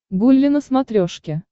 гулли на смотрешке